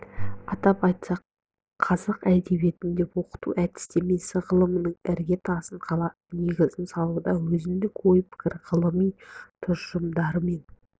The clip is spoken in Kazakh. атап айтсақ қазақ әдебиетін оқыту әдістемесі ғылымының ірге тасын қалап негізін салуда өзіндік ой-пікір ғылыми тұжырымдарымен